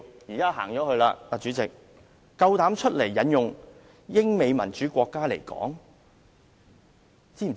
主席現在不在席，他膽敢引用英美民主國家的例子？